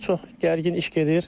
Çox gərgin iş gedir.